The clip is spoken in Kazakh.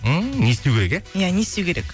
ммм не істеу керек иә иә не істеу керек